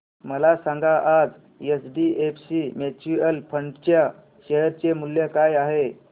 मला सांगा आज एचडीएफसी म्यूचुअल फंड च्या शेअर चे मूल्य काय आहे